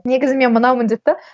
негізі мен мынаумын деп те